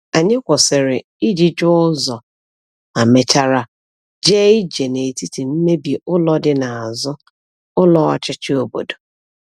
Anyị kwụsịrị iji jụọ ụzọ, ma mechara jee ije n’etiti mmebi ụlọ dị n’azụ ụlọ ọchịchị obodo.